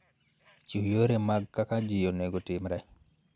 Chiw yore mag kaka ji onego otimre